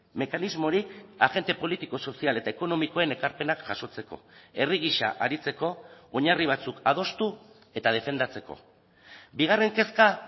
mekanismorik agente politiko sozial eta ekonomikoen ekarpenak jasotzeko herri gisa aritzeko oinarri batzuk adostu eta defendatzeko bigarren kezka